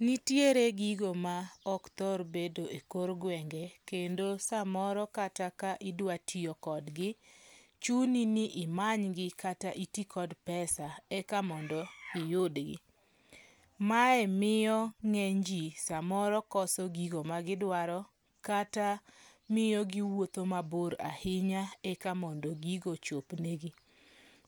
Nitiere gigo ma ok thor bedo e kor gwenge kendo samoro kata ka idwatiyo kodgi, chuni ni imanygi kata iti kod pesa eka mondo iyidgi. Mae miyo ng'eny ji samoro koso gigo magidwaro kata miyo giwuotho mabor ahinya eka mondo gigo ochopnegi.